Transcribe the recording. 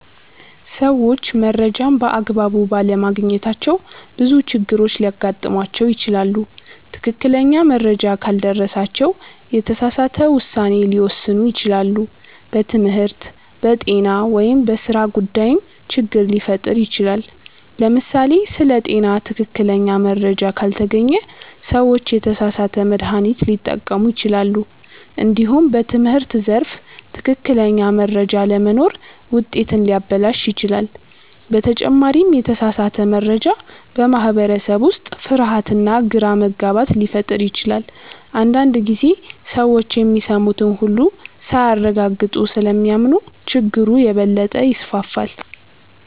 ሰዎች መረጃን በአግባቡ ባለማግኘታቸው ብዙ ችግሮች ሊያጋጥሟቸው ይችላሉ። ትክክለኛ መረጃ ካልደረሳቸው የተሳሳተ ውሳኔ ሊወስኑ ይችላሉ፣ በትምህርት፣ በጤና ወይም በሥራ ጉዳይም ችግር ሊፈጠር ይችላል። ለምሳሌ ስለ ጤና ትክክለኛ መረጃ ካልተገኘ ሰዎች የተሳሳተ መድሃኒት ሊጠቀሙ ይችላሉ። እንዲሁም በትምህርት ዘርፍ ትክክለኛ መረጃ አለመኖር ውጤትን ሊያበላሽ ይችላል። በተጨማሪም የተሳሳተ መረጃ በማህበረሰብ ውስጥ ፍርሃትና ግራ መጋባት ሊፈጥር ይችላል። አንዳንድ ጊዜ ሰዎች የሚሰሙትን ሁሉ ሳያረጋግጡ ስለሚያምኑ ችግሩ የበለጠ ይስፋፋል።